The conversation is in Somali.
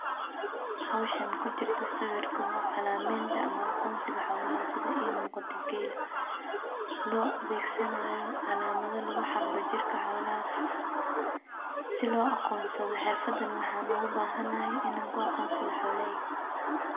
Howshan kujirta sawirka waa calamadenta ama aqoonsiga xoolaha sida ii muqata geela lo adeysananayo calamada lagu xaqda jirka xoolaha si loo aqoonada xirfadan waxaan ogu bahanahay inaan ku aqoonsado xoolaheyga.